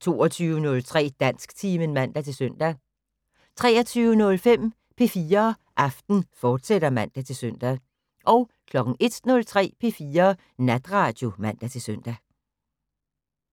22:03: Dansktimen (man-søn) 23:05: P4 Aften, fortsat (man-søn) 01:03: P4 Natradio (man-søn)